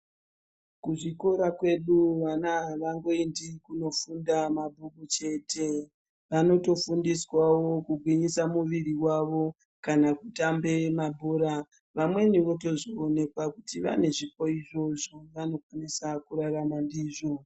Kuzvikora kwedu vana havangoendi kunofunda mabhuku chete. Vanotofundiswawo kugwinyisa muviri wavo kana kutambe mabhora. Vamweni votozoonekwa kuti vane zvipo izvo zvavanokwanisa kurarama ndizvo.